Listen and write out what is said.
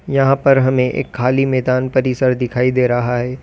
यहां पर हमें एक खाली मैदान परिसर दिखाई दे रहा है।